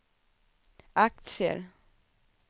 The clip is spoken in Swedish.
aktier